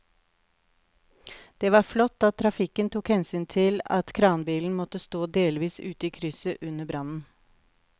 Det var flott at trafikken tok hensyn til at kranbilen måtte stå delvis ute i krysset under brannen.